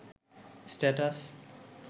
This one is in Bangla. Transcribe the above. স্ট্যাটাস